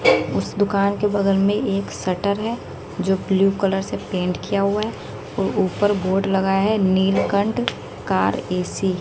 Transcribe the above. उस दुकान के बगल मे एक शटर है जो ब्ल्यू कलर से पेंट किया हुआ है वो ऊपर बोर्ड लगा है नीलकंठ कार ए सी ।